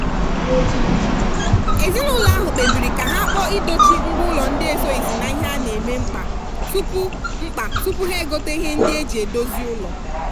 ezinụlọ ahụ kpebiri ka ha kpọọ idochi ngwa ụlọ ndị esoghizi n'ihe a na-eme mkpa tupu mkpa tupu ha egote ihe ndị eji edozi ụlọ.